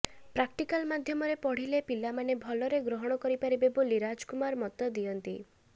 practical ମାଧ୍ୟମରେ ପଢିଲେ ପିଲାମାନେ ଭଲରେ ଗ୍ରହଣ କରିପାରିବେ ବୋଲି ରାଜ କୁମାର ମତ ଦିଅନ୍ତି